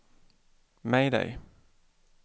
mayday